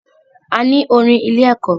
A ní orin ilé ẹ̀kọ́.